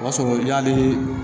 O b'a sɔrɔ yani